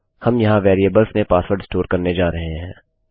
हम यहाँ वेरिएबल में पासवर्ड स्टोर करने जा रहे हैं